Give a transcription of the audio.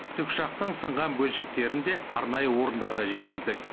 тікұшақтың сынған бөлшектерінде арнайы орындарға жеткіздік